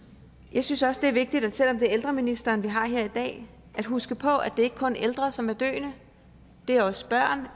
jeg synes også det er vigtigt at selv om det er ældreministeren vi har her i dag at huske på at det ikke kun er ældre som er døende det er også børn